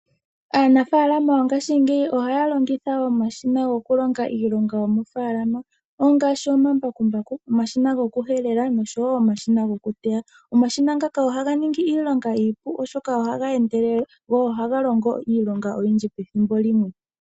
Aanafalama yongashingeyi ohaa longitha omashina goku longa iilonga yomofaalama. Ongaashi omambakumbaku, omashina goku helela noshowo omashina goku teya. Omashina ngaka ohaga ningi iilonga iipu go ohaga endelele. Go ohaga longo iilonga oyindji pethimbo limwe.